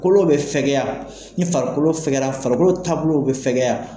Kolow bɛ fɛkɛya, ni farikolo fɛkɛyala, farikolo taabolo bɛ fɛkɛya.